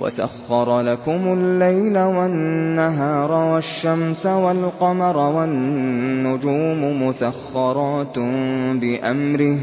وَسَخَّرَ لَكُمُ اللَّيْلَ وَالنَّهَارَ وَالشَّمْسَ وَالْقَمَرَ ۖ وَالنُّجُومُ مُسَخَّرَاتٌ بِأَمْرِهِ ۗ